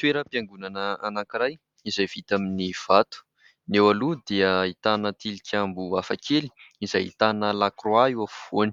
Toeram-piangonana anankiray izay vita amin'ny vato, ny eo aloha dia ahitana tilikambo hafakely izay ahitana lakroa eo afovoany;